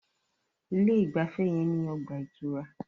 Ilé ìgbafẹ́ yẹn ní ọgbà ìtura.